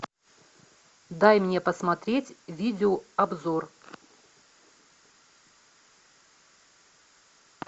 дай мне посмотреть видеообзор